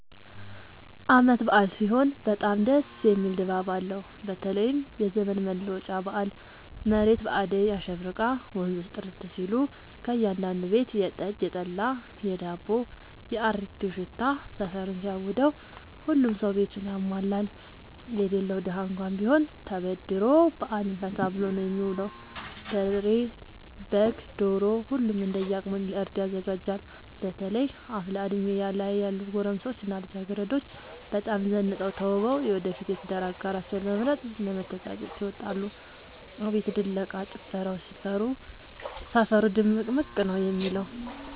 አበዓል ሲሆን በጣም ደስ የሚል ድባብ አለው በተለይም የዘመን መለወጫ በአል መሬት በአዳይ አሸብርቃ ወንዞቹ ጥርት ሲሉ ከእያዳዱ ቤት የጠጅ፣ የጠላ የዳቦው።፣ የአሪቲው ሽታ ሰፈሩን ሲያውደው። ሁሉም ሰው ቤቱን ያሟላል የሌለው ደሀ እንኳን ቢሆን ተበድሮ በአልን ፈታ ብሎ ነው የሚውለው። በሬ፣ በግ፣ ዶሮ ሁሉም እንደየ አቅሙ ለእርድ ያዘጋጃል። በተለይ አፍላ እድሜ ላይ ያሉ ጎረምሶች እና ልጃገረዶች በጣም ዘንጠው ተውበው የወደፊት የትዳር አጋራቸውን ለመምረጥ ለመተጫጨት ይወጣሉ። አቤት ድለቃ፣ ጭፈራው ሰፈሩ ድምቅምቅ ነው የሚለው።